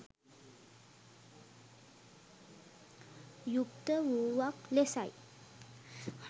යුක්ත වූවක් ලෙසයි.